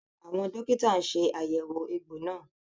Àwọn dókítà ṣe àyẹ̀wò egbò náà